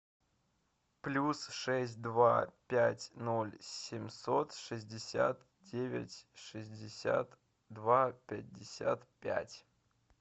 плюс шесть два пять ноль семьсот шестьдесят девять шестьдесят два пятьдесят пять